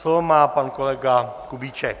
Slovo má pan kolega Kubíček.